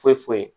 Foyi foyi foyi